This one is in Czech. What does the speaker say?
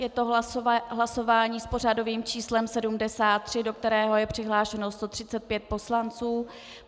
Je to hlasování s pořadovým číslem 73, do kterého je přihlášeno 135 poslanců.